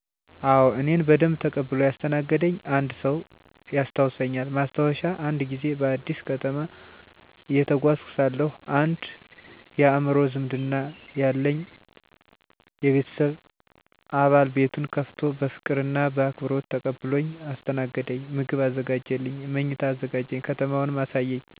አዎ፣ እኔን በደንብ ተቀብሎ ያስተናገደኝ አንድ ሰው ያስታውሳልኝ። ማስታወሻ፦ አንድ ጊዜ በአዲስ ከተማ እየተጓዝኩ ሳለሁ አንድ የአእምሮ ዝምድና ያለኝ የቤተሰብ አባል ቤቱን ከፍቶ በፍቅር እና በአክብሮት ተቀብሎኝ አስተናገደኝ። ምግብ አዘጋጀልኝ፣ መኝታ አዘጋጀ፣ ከተማውንም አሳየኝ። ያ ቀን ተቀባይነት እና የሰውነት እሴት ተሞልቶ ነበር። ምክንያቱ? በልቡ ያለው ክብር፣ ልጅነትና ሰውነትን የሚከብር ባህላዊ እሴት ነበር። ያ እርሱ ከሰጠኝ ሙያዊ እና ሰውነታዊ አካል የሆነ መንፈሳዊ ትምህርት ነበር።